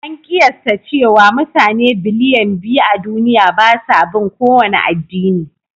An kiyasta cewa mutane biliyan biyu a duniya ba sa bin kowane addini.